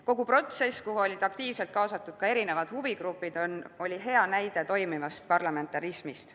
Kogu protsess, kuhu olid aktiivselt kaasatud erinevad huvigrupid, oli hea näide toimivast parlamentarismist.